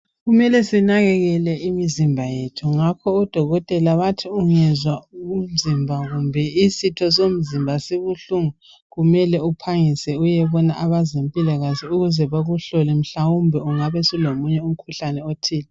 Kumele sinakekele imizimba yethu ngakho odokotela bathi ungezwa umzimba kumbe isitho somzimba sibuhlungu kumele uphangise uyebona abezempilakahle ukuze bakuhlole mhlawumbe ungabe sulomunye umkhuhlane othile.